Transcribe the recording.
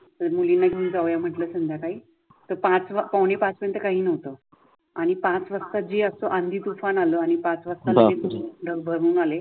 मुलींना घेऊन जाऊया म्हटलं संध्याकाळी. तर पाच पावणे पाच नंतर काही न्हवत आणि पाच वाजता झी असतो आंधी तूफान आल आणि पाच वाजता काही धग भरून आले.